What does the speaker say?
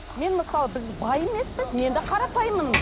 мен мысалы біз бай емеспіз мен де қарапайыммын